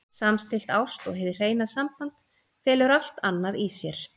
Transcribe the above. Samstillt ást og hið hreina samband felur allt annað í sér.